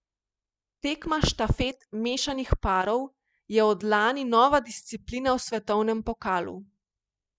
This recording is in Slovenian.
Tekma štafet mešanih parov je od lani nova disciplina v svetovnem pokalu.